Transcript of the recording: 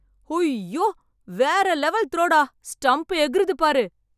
உய்யோ! வேற level throw டா. Stump எகிறுது பாரு!